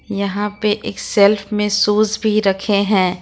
यहां पर एक सेल्फ में सोच भी रखे हैं।